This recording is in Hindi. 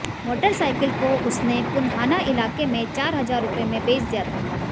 मोटरसाइकिल को उसने पुन्हाना इलाके में चार हजार रुपये में बेच दिया था